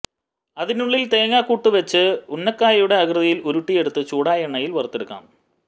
അതിനുള്ളിൽ തേങ്ങാക്കൂട്ട് വെച്ച് ഉന്നക്കായയുടെ ആകൃതിയിൽ ഉരുട്ടി എടുത്ത് ചൂടായ എണ്ണയിൽ വറുത്തെടുക്കാം